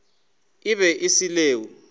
e be e se leo